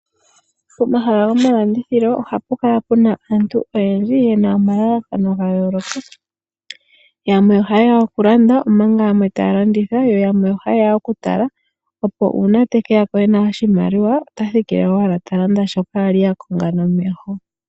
Pomahala goma landithilo ohapu kala puna aantu oyendji yena omalalakano ga yooloka. Yamwe oha yeya oku landa omanga yamwe ta ya landitha. Yo yamwe oha yeya oku tala, opo uuna te keya ko ena oshimaliwa ota thikile owala ta landa shoka ali a konga nomeho.